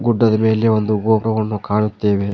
ಗುಡ್ಡದ ಮೇಲೆ ಒಂದು ಗೊಪ್ರವನ್ನು ಕಾಣುತ್ತೆವೆ.